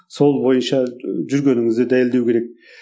сол бойынша ы жүргеніңізді дәлелдеу керек